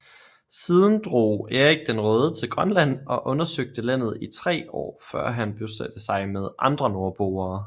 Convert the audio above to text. Siden drog Erik den Røde til Grønland og undersøgte landet i tre år før han bosatte sig med andre nordboere